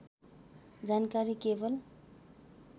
जानकारी केवल